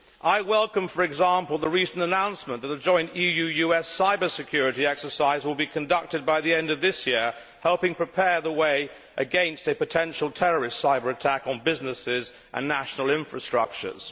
I welcome, for example, the recent announcement that a joint EU US cyber security exercise will be conducted by the end of this year, helping prepare the way against a potential terrorist cyber attack on businesses and national infrastructures.